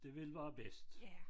Det vil være bedst